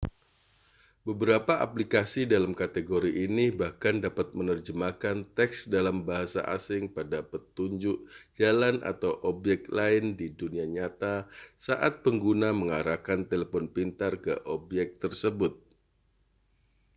beberapa aplikasi dalam kategori ini bahkan dapat menerjemahkan teks dalam bahasa asing pada petunjuk jalan atau objek lain di dunia nyata saat pengguna mengarahkan telepon pintar ke objek tersebut